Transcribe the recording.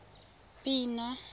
pina